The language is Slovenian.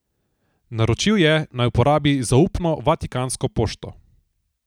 Naročil je, naj uporabi zaupno vatikansko pošto.